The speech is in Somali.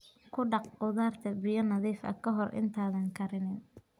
Ku dhaq khudaarta biyo nadiif ah ka hor intaadan karinin.